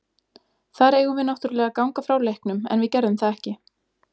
Þar eigum við náttúrlega að ganga frá leiknum en við gerðum það ekki.